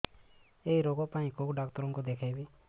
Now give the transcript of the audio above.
ଏଇ ରୋଗ ପାଇଁ କଉ ଡ଼ାକ୍ତର ଙ୍କୁ ଦେଖେଇବି